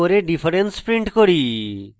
difference print করি